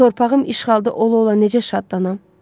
Torpağım işğalda ola-ola necə şadlanım?